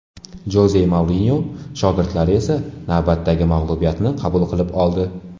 Joze Mourinyo shogirdlari esa navbatdagi mag‘lubiyatni qabul qilib oldi.